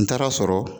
N taara sɔrɔ